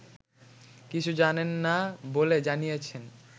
কিছু জানেন না বলে জানিয়েছেন